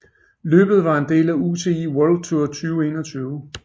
Løbet var en del af UCI World Tour 2021